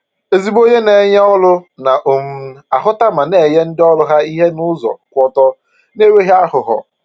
Ezigbo onye na-enye ọrụ na um ahụta ma na-enye ndi ọrụ ha ihe n’ụzọ kwụ ọtọ, n’enweghị àghụ̀ghọ.